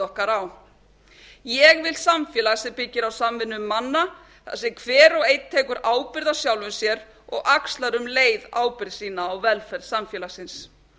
okkar á ég vil samfélag sem byggir á samvinnu manna þar sem hver og einn tekur ábyrgð á sjálfum sér og axlar um leið ábyrgð sína á velferð samfélagsins